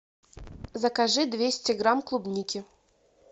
закажи двести грамм клубники